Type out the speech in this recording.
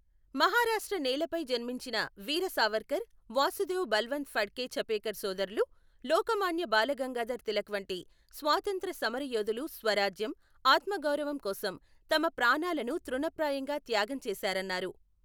మహారాష్ట్ర నేలపై జన్మించిన వీరసావర్కర్, వాసుదేవ్ బల్వంత్ ఫడ్కే ఛపేకర్ సోదరులు, లోకమాన్య బాలగంగాధర్ తిలక్ వంటి స్వాతంత్ర్య సమర యోధులు స్వరాజ్యం, ఆత్మగౌరవం కోసం తమ ప్రాణాలను తృణప్రాయంగా త్యాగం చేశారన్నారు.